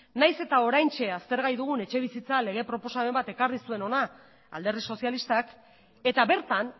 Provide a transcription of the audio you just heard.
nahiz eta oraintxe aztergai dugun etxebizitza lege proposamen bat ekarri zuen hona alderdi sozialistak eta bertan